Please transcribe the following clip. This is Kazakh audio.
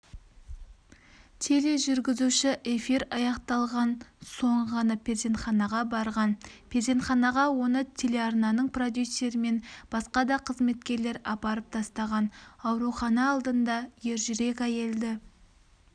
тележүргізуші эфир аяқталған соң ғана перзентханаға барған перзентханаға оны телеарнаның продюсері мен басқа да қызметкерлер апарып тастаған аурухана алдында ержүрек әйелді